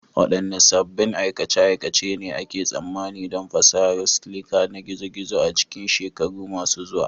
Waɗanne sabbin aikace-aikace ne ake tsammanin don fasahar siliki ta gizo-gizo a cikin shekaru masu zuwa?